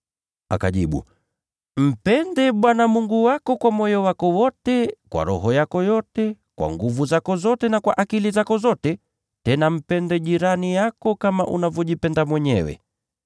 Akajibu, “ ‘Mpende Bwana Mungu wako kwa moyo wako wote, kwa roho yako yote, kwa nguvu zako zote, na kwa akili zako zote’; tena, ‘Mpende jirani yako kama unavyojipenda mwenyewe.’ ”